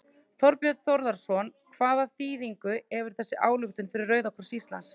Þorbjörn Þórðarson: Hvaða þýðingu hefur þessi ályktun fyrir Rauða kross Íslands?